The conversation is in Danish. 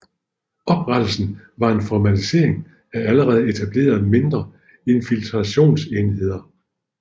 Oprettelsen var en formalisering af allerede etablerede mindre infiltrationsenheder